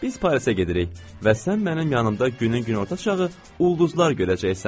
Biz Parisə gedirik və sən mənim yanımda günün günorta çağı ulduzlar görəcəksən.